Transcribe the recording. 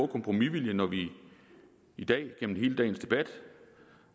kompromisvilje når vi i dag gennem hele dagens debat